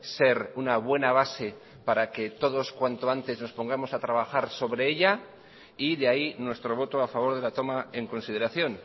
ser una buena base para que todos cuanto antes nos pongamos a trabajar sobre ella y de ahí nuestro voto a favor de la toma en consideración